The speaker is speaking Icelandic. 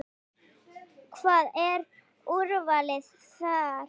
Hvað, er úrvalið þar?